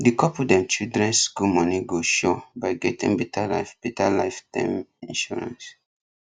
the couple dem children school money go sure by getting better life better life term insurance